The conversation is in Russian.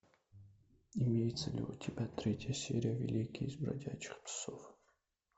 имеется ли у тебя третья серия великие из бродячих псов